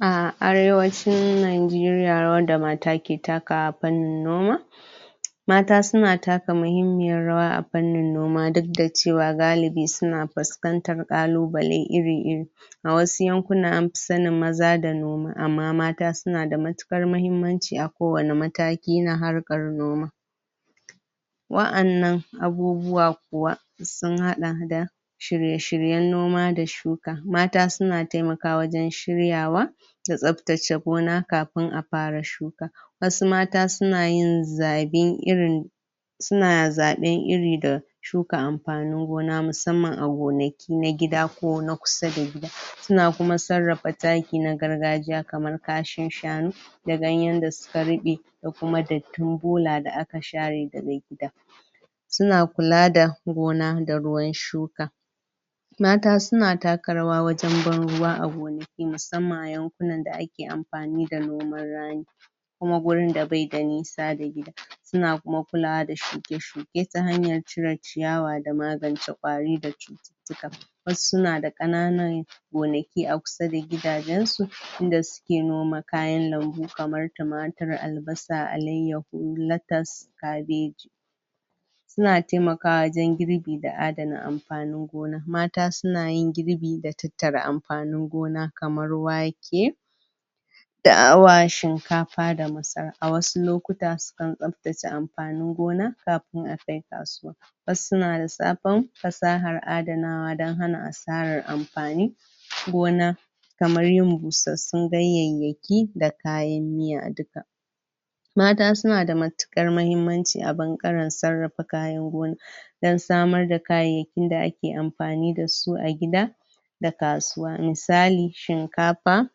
A arewacin Nigeria rawar da mata ke takawa fannin noma mata suna taka muhimmiyar rawa a fannin noma duk da ce wa galibi su na fuskantar ƙalubale iri-iri, a wasu yankunan anfi sanin maza da noma amma mata su na da matuƙar mahimmanci a kowane mataki na harkar noma, wa'annan abubuwa kuwa sun haɗa da shirye-shiryen noma da shuka, mata su na taimakawa wajen shiryawa da tsaftace gona kafin a fara shuka, wasu mata su na yin zaɓin irin su na zaɓen iri da shuka amfanin gona musamman a gonaki na gida ko kusa da gida, su na kuma sarrafa taki na gargajiya kamar kashin shanu da ganyen da su ka ruɓe, da kuma dattin bola da aka share daga gida, su na kula da gona da ruwan shuka, mata su na taka rawa wajen ban ruwa a gonaki musamman a yankunan da ake amfani da noman rani, kuma gurinda bai da nisa da gida, su na kuma kulawa da shuke-shuke ta hanyar cire ciyawa da magance ƙwari da cututtuka, wasu su na da ƙananan gonaki a kusa da gidajensu inda suke noma kayan lambu, kamar tumatir, albasa, alaiyahu, lettuce, kabeji, su na taimakawa wajen girbi da adana amfanin gona, mata su na yin girbi da tattara amfanin gona, kamar wake, dawa, shinkafa da masara, a wasu lokuta su kan tsaftace amfanin gona kafin a kai kasuwa, wasu na zaɓen fasahar adanawa don hana asarar amfanin gona kamar busassun ganyeyyaki da kayan miya duka, mata su na da matuƙar mahimmanci a ɓangaren sarrafa kayan gona, don samar da kayayyakin da ake amfani da su a gida, da kasuwa, misali: Shinkafa,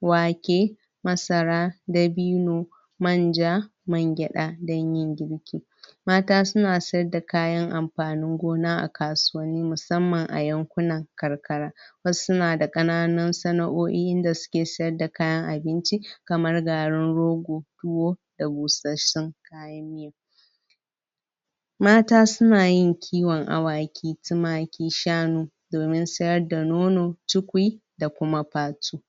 wake, masara, dabino, manja, man gyaɗa don yin girki, mata su na sayadda kayan amfanin gona a kasuwanni musamman a yankunan karkara, wasu na da ƙanan sana'o'i inda su ke sayadda kayan abinci, kamar garin rogo, tuwo da busassun kayan miya, mata su na yin kiwaon awaki, tumaki, shanu domin sayarda nono, cikui da kuma fatu.